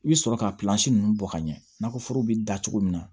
I bɛ sɔrɔ ka ninnu bɔ ka ɲɛfɔ foro bɛ da cogo min na